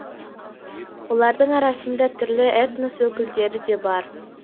олардың арасында түрлі этнос өкілдері де бар